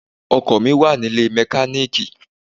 Ọkọ̀ mi wà nílé mẹkáníìkì.